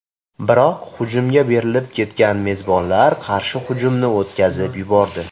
Biroq hujumga berilib ketgan mezbonlar qarshi hujumni o‘tkazib yubordi.